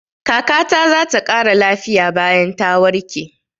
Kaka ta za ta ƙara lafiya bayan ta warke.